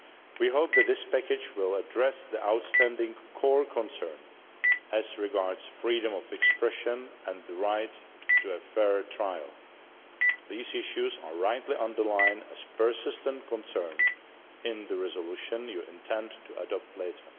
We hope that his package will address the outstanding core concern as regards freedom of expression and the right to a fair trial. These issues are rightly highlighted as persistent concerns in the resolution you intend to adopt later.